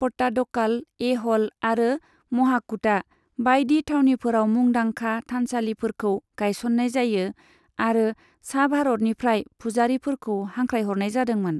पट्टाडकाल, ऐह'ल आरो महाकुटा बायदि थावनिफोराव मुंदांखा थानसालिफोरखौ गायसननाय जायो आरो सा भारतनिफ्राय फुजारिफोरखौ हांख्रायहरनाय जादोंमोन।